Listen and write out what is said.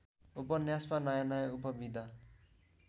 उपन्यासमा नयाँनयाँ उपविधा